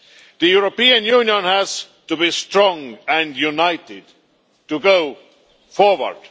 The European Union has to be strong and united to go forward.